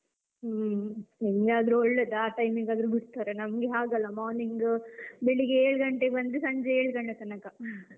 ಹ್ಮ್ ನಿಮ್ಗೆ ಆದ್ರೆ ಒಳ್ಳೇದು ಆ time ಗಾದ್ರು ಬಿಡ್ತರೆ ನಮಗೆ ಹಾಗಲ್ಲ morning ಬೆಳಿಗ್ಗೆ ಏಳ್ ಗಂಟೆಗ್ ಬಂದ್ರೆ ಸಂಜೆ ಏಳ್ ಗಂಟೆ ತನಕ